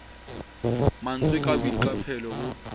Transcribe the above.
ma ntswe ka boiqapelo bo